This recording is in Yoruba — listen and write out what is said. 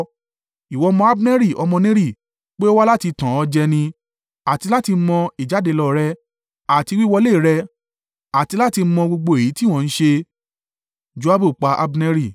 Ìwọ mọ Abneri ọmọ Neri, pé ó wá láti tàn ọ́ jẹ ni, àti láti mọ ìjáde lọ rẹ, àti wíwọlé rẹ́ àti láti mọ gbogbo èyí tí ìwọ ń ṣe.”